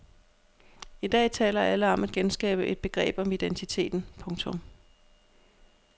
I dag taler alle om at genskabe et begreb om identiteten. punktum